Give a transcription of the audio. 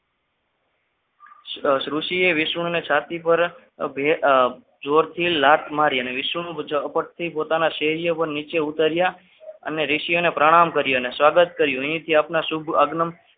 ઋષીએ વિષ્ણુની છાતી ઉપર જોરથી લાત મારી અને વિષ્ણુને ઝાપટ થી પોતાના શહેરીએ નીચે ઉતર્યા અને ઋષિઓને પ્રણામ કર્યા સ્વાગત કર્યું અહીંથી આપના શુભ આગમન